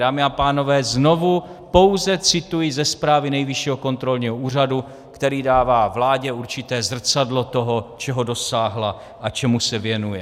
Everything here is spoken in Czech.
Dámy a pánové, znovu pouze cituji ze zprávy Nejvyššího kontrolního úřadu, který dává vládě určité zrcadlo toho, čeho dosáhla a čemu se věnuje.